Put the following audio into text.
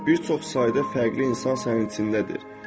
Bir çox sayda fərqli insan sənin içindədir.